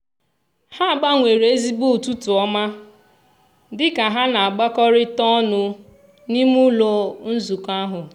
ha gbanwere ezigbo "ụtụtụ ọma" dị ka ha na-abakọrịta ọnụ n'ime ụlọ nzukọ ahụ.